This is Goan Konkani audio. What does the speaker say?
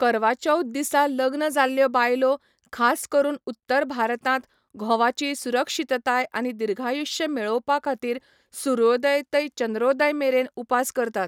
करवा चौथ दिसा लग्न जाल्ल्यो बायलो, खास करून उत्तर भारतांत, घोवाची सुरक्षीतताय आनी दीर्घायुष्य मेळोवपाखातीर सुर्योदय ते चंद्रोदय मेरेन उपास करतात.